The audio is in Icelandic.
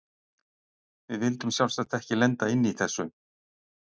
Við vildum sjálfsagt ekki lenda inni í þessu!